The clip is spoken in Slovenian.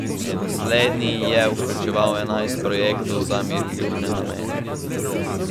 Slednji je vključeval enajst projektov za miroljubne namene.